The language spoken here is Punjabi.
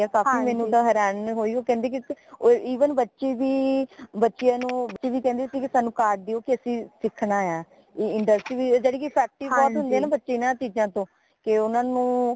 ਕਾਫ਼ੀ ਮੈਨੂੰ ਤਾ ਹੈਰਾਨੀ ਹੋਈਕਿ ਓ ਕਹਿੰਦੇ ਕਿ even ਬੱਚੇ ਵੀ ਬੱਚਿਆਂ ਨੂ ਵੀ ਕਹਿੰਦੇ ਸੀਗੇ ਕਿ ਸਾਨੂ card ਦਯੋ ਕਿ ਅਸੀਂ ਸਿੱਖਣਾ ਹਾਂ ਯਾਨੀ ਕਿ industry ਬੱਚੇ ਬੜੇ effective ਹੁੰਦੇ ਹੈ ਇਨਾ ਚੀਜ਼ਾਂ ਤੋਂ ਕੇ ਓਨਾ ਨੂੰ